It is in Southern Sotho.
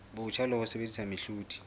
botjha le ho sebedisa mehlodi